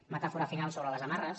metàfora final sobre les amarres